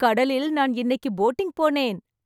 கடலில் நான் இன்னைக்கு போட்டிங் போனேன்.